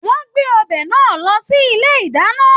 Wọn gbé ọbẹ náà lọ sí ilé ìdáná.